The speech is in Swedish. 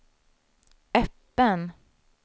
öppen